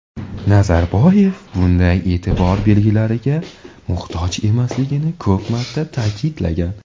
Nazarboyev bunday e’tibor belgilariga muhtoj emasligini ko‘p marta ta’kidlagan.